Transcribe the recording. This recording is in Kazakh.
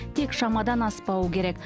тек шамадан аспауы керек